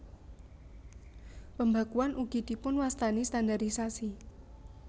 Pembakuan ugi dipunwastani standarisasi